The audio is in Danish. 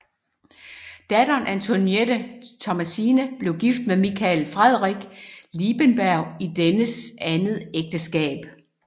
Datteren Antoinette Thomasine blev gift med Michael Frederik Liebenberg i dennes andet ægteskab